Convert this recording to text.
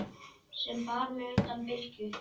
sem bar mig undan bylgju.